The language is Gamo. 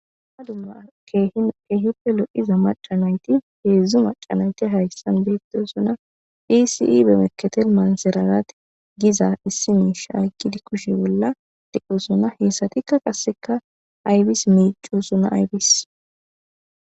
Ha dumma kehippe loiza macanayti heedzdzu macanayti hayssan beettesuna pisii bemeketel maanserarat giza issi miisha agidi kushe bolla dequsuna heesatikka qasseka aybis miico suna aybis